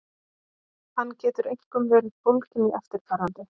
Hann getur einkum verið fólginn í eftirfarandi